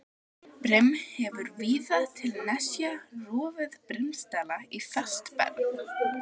Brim hefur víða til nesja rofið brimstalla í fast berg.